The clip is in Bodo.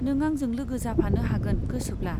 नों आंजों लोगो जाफानो हागोन गोसोब्ला।